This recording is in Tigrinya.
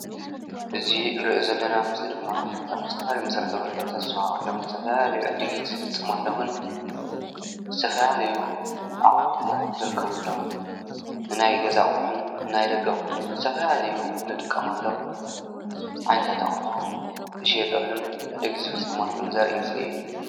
እዚ እንርእዮ ዘለና ምስሊ ድማ ኣብ ዝተፈላለዩ መሰረታዊ ግልጋሎታት ዝወሃበሎም ዝተፈላለዩ ዕድጊት ዝፍፀመሎምን ዝተፈላለዩ ኣቅሑ ዝርከብሎም ንናይ ገዛ ኣቁሑ ናይ ደገ ኣቁሑ ዝተፈላለዩ ንጥቀመሎም ዓይነታት ኣቁሑ ዝሽየጠሉን ዕድጊት ዝፍፀመሉን ዘርኢ ምስሊ እዩ።